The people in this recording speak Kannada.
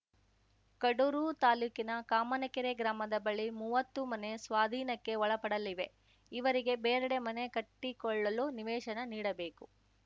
ಕಡೂರು ತಾಲೂಕಿನ ಕಾಮನಕೆರೆ ಗ್ರಾಮದ ಬಳಿ ಮುವತ್ತು ಮನೆ ಸ್ವಾಧೀನಕ್ಕೆ ಒಳಪಡಲಿವೆ ಇವರಿಗೆ ಬೇರೆಡೆ ಮನೆ ಕಟ್ಟಿಕೊಳ್ಳಲು ನಿವೇಶನ ನೀಡಬೇಕು